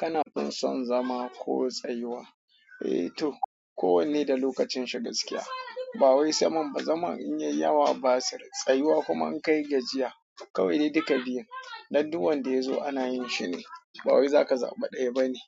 Kana fin son zama ko tsayuwa? Eh to, ko wanne da lokacin shi gaskiya. Ba wai saman ba, zaman in yai yawa basir. Tsayuwa kuma in kai gajiya. Kawai dai duka biyun, dan duwan da ya zo ana yin shine. Ba wai zaka zaɓi ɗaya bane.